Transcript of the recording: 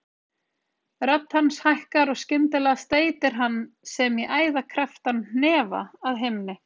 Rödd hans hækkar og skyndilega steytir hann sem í æði krepptan hnefa að himni.